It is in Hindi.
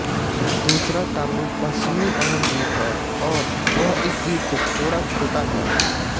दूसरा टापू पश्चिमी बहन द्वीप हैं और वह इस द्वीप से थोड़ा छोटा है